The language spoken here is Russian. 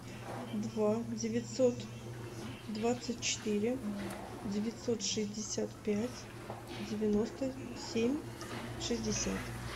два девятьсот двадцать четыре девятьсот шестьдесят пять девяносто семь шестьдесят